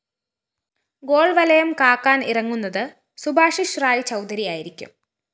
ഗോള്‍വലയം കാക്കാന്‍ ഇറങ്ങുന്നത് സുഭാശിഷ് റായ് ചൗധരിയായിരിക്കും